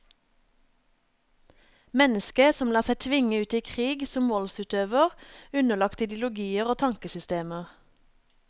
Mennesket som lar seg tvinge ut i krig som voldsutøver, underlagt ideologier og tankesystemer.